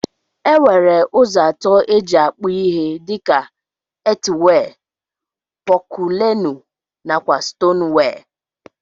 Enwere ụzọ atọ eji akpụ ihe dika: etiwee, pọculenu nakwa stonwee.